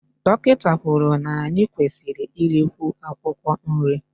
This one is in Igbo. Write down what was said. Dọkịta kwuru na anyị kwesịrị irikwu akwụkwọ nri